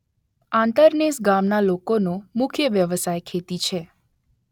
આંતરનેસ ગામના લોકોનો મુખ્ય વ્યવસાય ખેતી છે